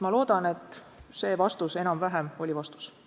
Ma loodan, et see vastus enam-vähem oli vastus.